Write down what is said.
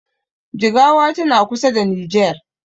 Jigawa tana kusa da nijer